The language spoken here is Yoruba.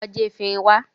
Lọ já efinrin wá!